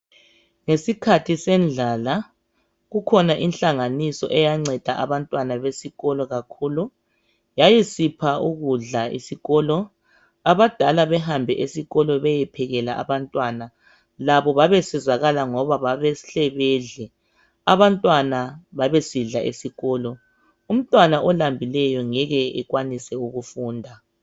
Ngesikhathi sendlala kukhona inhlanganiso eyanceda abantwana besikolo kakhulu. Yayisipha ukudla esikolo. Abadala behambe esikolo bayephekela abantwana. Labo babesizakala ngoba babehle bedle. Abantwana babesidla esikolo. Umntwana olambileyo ngeke ekwanise ukufunda.